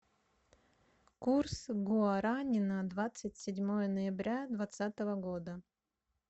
курс гуарани на двадцать седьмое ноября двадцатого года